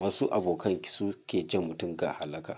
Wasu abokan su ke jan mutum ga halaka.